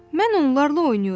Mən onlarla oynayıram.